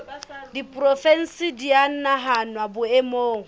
diporofensi di a nahanwa boemong